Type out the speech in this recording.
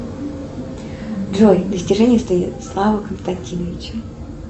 джой достижения станислава константиновича